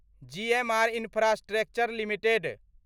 GMR infrastructure limited